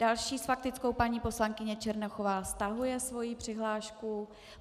Další s faktickou paní poslankyně Černochová, stahuje svoji přihlášku.